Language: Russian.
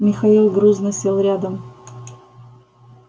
михаил грузно сел рядом